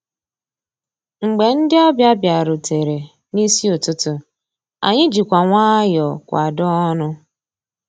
Mgbé ndị́ ọ̀bịá bìàrùtérè n'ísí ụtụtụ́, ànyị́ jìkwà nwayọ́ọ̀ kwàdóó ọnụ́.